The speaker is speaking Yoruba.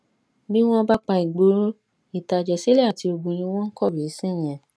bí wọn bá pa ìgboro ìtàjẹsílẹ àti ogun ni wọn ń kọwé sí yẹn